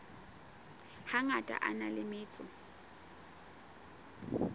hangata a na le metso